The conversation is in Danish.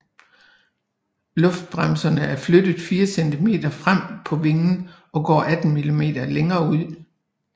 Luftbremserne er flyttet 4 cm frem på vingen og går 18 mm længere ud